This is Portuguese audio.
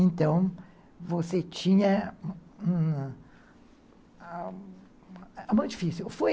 Então, você tinha... Foi muito difícil, foi